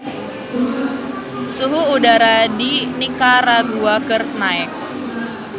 Suhu udara di Nikaragua keur naek